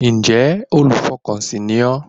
Ǹjẹ́ olùfọkànsìn ni ọ́